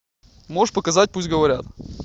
можешь показать пусть говорят